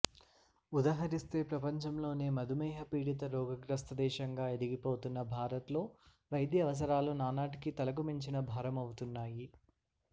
ఉదహరిస్తే ప్రపంచంలోనే మధుమేహ పీడిత రోగగ్రస్తదేశంగా ఎదిగిపోతున్న భారత్లో వైద్య అవసరాలు నానాటికీ తలకుమించిన భారమవుతున్నాయి